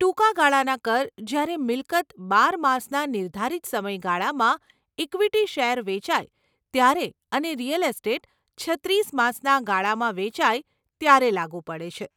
ટૂંકા ગાળાના કર જ્યારે મિલકત બાર માસના નિર્ધારિત સમય ગાળામાં ઇક્વિટી શેર વેચાય ત્યારે અને રીયલ એસ્ટેટ છત્રીસ માસના ગાળામાં વેચાય ત્યારે લાગુ પડે છે.